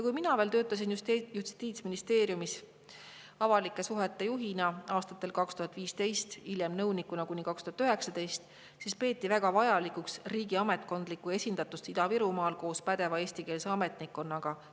Kui mina töötasin Justiitsministeeriumis avalike suhete juhina aastal 2015 ja hiljem nõunikuna kuni 2019, siis peeti väga vajalikuks riigi ametkondlikku esindatust Ida-Virumaal koos pädeva eestikeelse ametnikkonnaga.